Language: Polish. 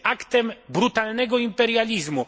Jest aktem brutalnego imperializmu.